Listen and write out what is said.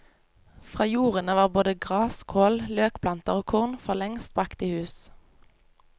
Fra jordene var både gras, kål, løkplanter og korn forlengst bragt i hus.